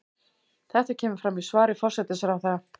Þetta kemur fram í svari forsætisráðherra